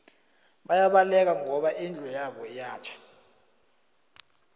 bayabaleka ngoba indlu yabo iyatjha